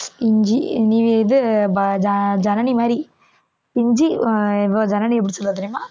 இஞ்சி நி~ இது ப~ ஜ~ ஜனனி மாதிரி இஞ்சி அஹ் ஜனனி எப்படி சொல்லுவா தெரியுமா?